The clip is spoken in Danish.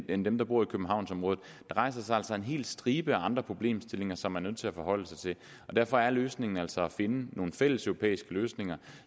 end dem der bor i københavnsområdet der rejser sig altså en hel stribe andre problemstillinger som man er nødt til at forholde sig til derfor er løsningen altså at finde nogle fælleseuropæiske løsninger